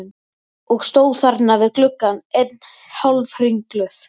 Og stóð þarna við gluggann enn hálfringluð.